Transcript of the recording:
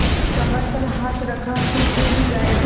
कमर पर हाथ रखा तो थैली गायब